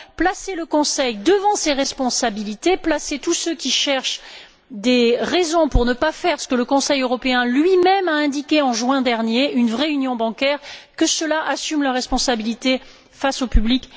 Placez le Conseil devant ses responsabilités. Placez tous ceux qui cherchent des raisons pour ne pas faire ce que le Conseil européen lui même a indiqué en juin dernier, une vraie union bancaire, devant leurs responsabilités face au public.